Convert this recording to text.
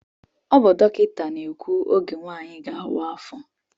Ọ bụ dọkịta na-ekwu ógè nwanyị gá-awa afọ.